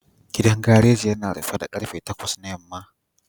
Gidan gareji yana rufe da karfe takwas na yamma